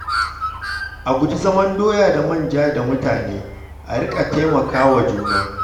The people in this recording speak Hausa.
A guji zaman doya da manja da mutane, a riƙa taimaka wa juna.